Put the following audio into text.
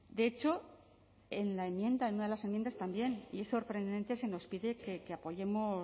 de hecho en la enmienda en una de las enmiendas también y es sorprendente se nos pide que apoyemos